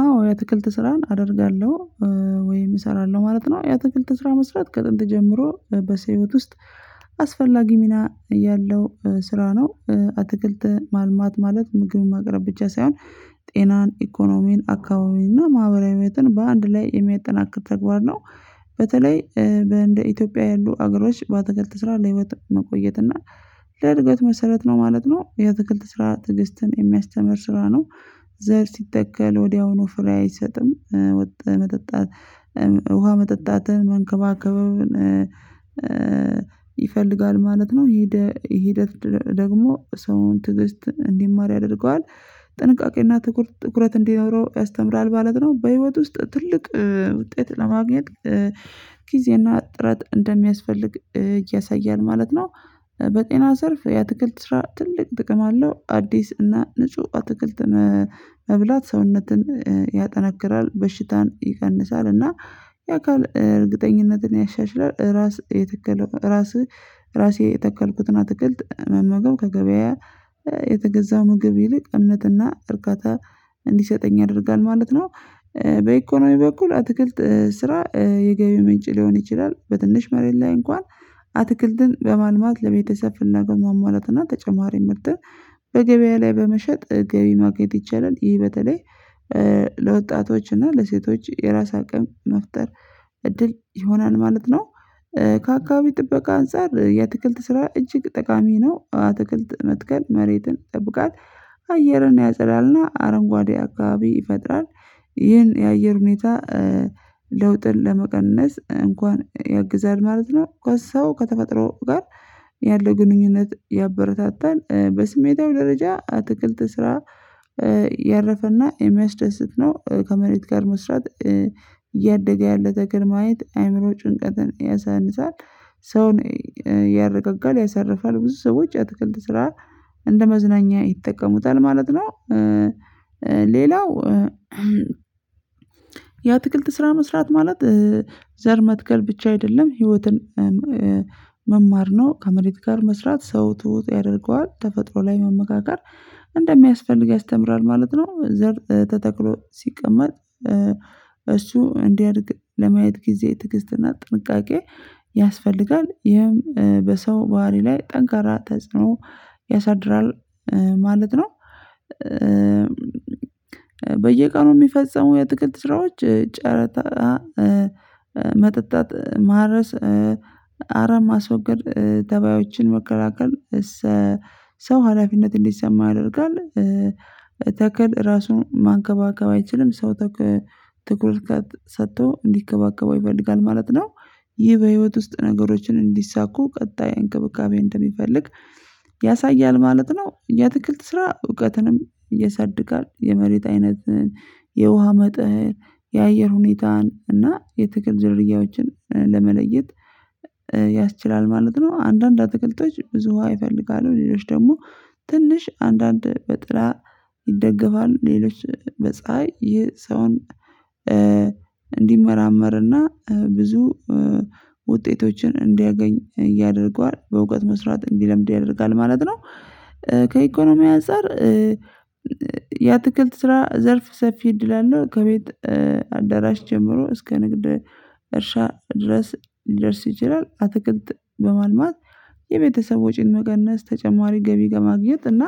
አዎ የአትክልት ስራን አደርጋለሁ ወይም እሰራለሁ ማለት ነው። የአትክልት ስራ መስራት ከጥንት ጀምሮ በሰው ህይወት ውስጥ አስፈላጊ ሚና ያለው ስራ ነው። አትክልት ማልማት ማለት ምግብን ማቅረብ ብቻ ሳይሆን ጤናን ኢኮኖሚን አካባቢን እና ማህበራዊ ህይወትን በአንድ ላይ የሚያጠናክር ተግባር ነው። በተለይ በእንደ ኢትዮጵያ ያሉ አገሮች በአትክልት ስራ ለህይወት መቆየት እና ለእድገት መሰረት ነው ማለት ነው። የአትክልት ስራ ትዕግስትን የሚያስተምር ስራ ነው። ዘር ሲተከል ወዲያውኑ ፍሬ አይሰጥም። መጠጣት ውሃ መጠጣትን መንከባከብን ይፈልጋል ማለት ነው። ሂደት ደግሞ ሰውን ትዕግስት እንዲማር ያደርገዋል። ጥንቃቄና ትኩረት እንዲኖረው ያስተምራል ማለት ነው። በህይወት ውስጥ ትልቅ ውጤት ለማግኘት ጊዜና ጥረት እንደሚያስፈልግ ያሳያል ማለት ነው። በጤና ዘርፍ የአትክልት ስራ ትልቅ ጥቅም አለው። አዲስ እና ንጹህ አትክልት መብላት ሰውነትን ያጠናክራል በሽታን ይቀንሳል እና የአካል እርግጠኝነትን ያሻሽላል። ራስ የተከለው ራስህ ራሴ የተከልኩትና አትክልት መመገብ ከገበያ የተገዛ ምግብ ይልቅ እምነትና እርካታ እንዲሰጠኝ ያደርጋል ማለት ነው። በኢኮኖሚ በኩል አትክልት ስራ የገቢ ምንጭ ሊሆን ይችላል። በትንሽ መሬት ላይ እንኳን አትክልትን በማልማት ለቤተሰብ ፍላጎት ማሟላትና ተጨማሪ ምርትን በገበያ ላይ በመሸጥ ገቢ ማግኘት ይቻላል። ይህ በተለይ ለወጣቶች እና ለሴቶች የራስ አቅም መፍጠር እድል ይሆናል ማለት ነው። ከአካባቢ ጥበቃ አንፃር የአትክልት ስራ እጅግ ጠቃሚ ነው። አትክልት መትከል መሬትን ይጠብቃል። አየርን ያጸዳልና አረንጓዴ አካባቢ ይፈጥራል። ይህን የአየር ሁኔታ ለውጥን ለመቀነስ እንኳን ያግዛል ማለት ነው። ከሰው ከተፈጥሮ ጋር ያለው ግንኙነት ያበረታታል። በስሜታዊ ደረጃ አትክልት ስራ ያረፈና የሚያስደስት ነው። ከመሬት ጋር መስራት እያደገ ያለ ተክል ማየት አይምሮ ጭንቀትን ያሳንሳል። ሰውን ያረጋጋል ያሳርፋል ብዙ ሰዎች የአትክልት ስራ እንደ መዝናኛ ይጠቀሙታል ማለት ነው። ሌላው የአትክልት ስራ መስራት ማለት ዘር መትከል ብቻ አይደለም ህይወትን መማር ነው። ከመሬት ጋር መስራት ሰው ትሁት ያደርገዋል ተፈጥሮ ላይ መመካከር እንደሚያስፈልግ ያስተምራል ማለት ነው። ዘር ተተክሎ ሲቀመጥ እሱ እንዲያድግ ለማየት ጊዜ ትግስትና ጥንቃቄ ያስፈልጋል ይህም በሰው ባህሪ ላይ ጠንካራ ተጽዕኖ ያሳድራል ማለት ነው። በየቀኑ የሚፈጸሙ የአትክልት ስራዎች ጨረታ መጠጣት ማረስ አረም ማስወገድ ተባዮችን መከላከል አይችልም ሰው ተኩል ትኩረት ሰጥቶ እንዲከባከበው ይፈልጋል ማለት ነው። ይህ በህይወት ውስጥ ነገሮችን እንዲሳኩ ቀጣይ እንክብካቤ እንደሚፈልግ ያሳያል ማለት ነው። የአትክልት ስራ እውቀትንም ያሳድጋል የመሬት አይነት የውሃ መጠን የአየር ሁኔታን እና የትክል ዝርያዎችን ለመለየት ያስችላል ማለት ነው። አንዳንድ አትክልቶች ብዙ ውሃ ይፈልጋሉ ሌሎች ደግሞ ትንሽ አንዳንድ በጥላ ይደገፋሉ ሌሎች በፀሀይ ይህን ሰው እንዲመራመርና ብዙ ውጤቶችን እንዲያገኝ ያደርገዋል በእውቀት መስራት እንዲለምድ ያደርጋል ማለት ነው። ከኢኮኖሚ አንፃር የአትክልት ስራ ዘርፍ ሰፊ እድል አለው። ከቤት አዳራሽ ጀምሮ እስከ ንግድ እርሻ ድረስ ሊደርስ ይችላል። አትክክት በማልማት የቤተሰብ ወጪን መቀነስ ተጨማሪ ገቢ ከማግኘት እና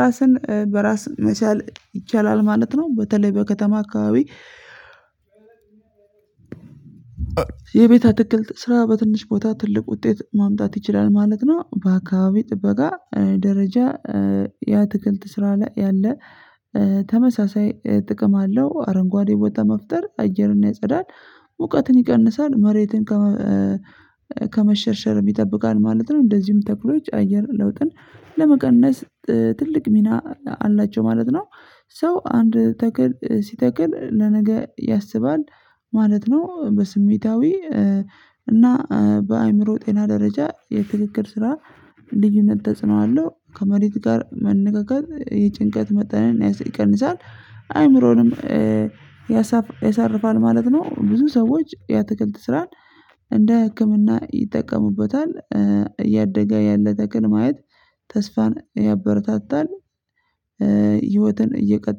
ራስን በራስ መቻል ይቻላል ማለት ነው። በተለይ በከተማ አካባቢ የቤት አትክልት ስራ በትንሽ ቦታ ትልቅ ውጤት ማምጣት ይችላል ማለት ነው። በአካባቢ ጥበቃ ደረጃ የአትክልት ስራ ላይ ያለ ተመሳሳይ ጥቅም አለው። አረንጓዴ ቦታ መፍጠር አየርና ያጸዳል ሙቀትን ይቀንሳል መሬትን ከመሸርሸር ይጠብቃል ማለት ነው። እንደዚሁም ተክሎች አየር ለውጥን ለመቀነስ ትልቅ ሚና አላቸው ማለት ነው። ሰው አንድ ተክል ሲተክል ለነገ ያስባል ማለት ነው። በስሜታዊ እና በአእምሮ ጤና ደረጃ የትክክል ስራ ልዩነት ተጽኖ አለሁ ከመሬት ጋር መንጋገር የጭንቀት መጠንን ይቀንሳል አይምሮንም ያሳርፋል ማለት ነው። ብዙ ሰዎች የአትክልት ስራን እንደ ህክምና ይጠቀሙበታል። እያደገ ያለ ተክል ማየት ተስፋን ያበረታታል። ህይወትን እየቀጠለ